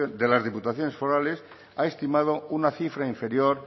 de las diputaciones forales ha estimado una cifra inferior